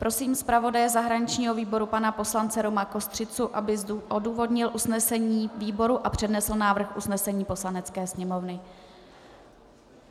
Prosím zpravodaje zahraničního výboru pana poslance Roma Kostřicu, aby odůvodnil usnesení výboru a přednesl návrh usnesení Poslanecké sněmovny.